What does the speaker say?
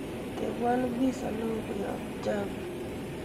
tebwon piza newo koyob java